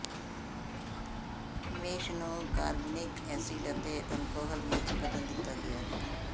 mash ਨੂੰ ਕਾਰਬਨਿਕ acid ਅਤੇ ਅਲਕੋਹਲ ਵਿੱਚ ਬਦਲ ਦਿੱਤਾ ਗਿਆ ਹੈ